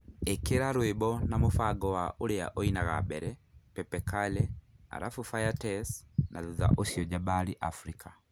ĩkĩra rwĩmbo na mũbango wa ũrĩa ũinaga mbere pepe kale alafu faya tess, na thutha ũcio Jabali Africa